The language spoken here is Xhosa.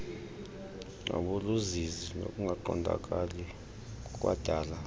nabuluzizi nokungaqondakali kukwadala